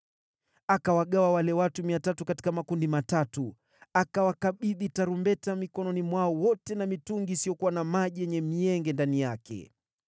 Akawagawa wale watu 300 katika makundi matatu, akawakabidhi tarumbeta mikononi mwao wote na mitungi isiyokuwa na maji yenye mienge ndani yake.